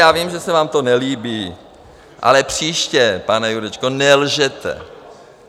Já vím, že se vám to nelíbí, ale příště, pane Jurečko, nelžete.